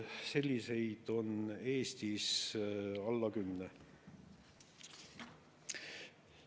Selliseid on Eestis alla 10.